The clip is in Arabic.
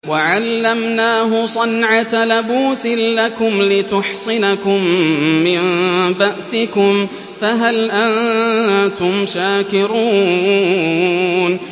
وَعَلَّمْنَاهُ صَنْعَةَ لَبُوسٍ لَّكُمْ لِتُحْصِنَكُم مِّن بَأْسِكُمْ ۖ فَهَلْ أَنتُمْ شَاكِرُونَ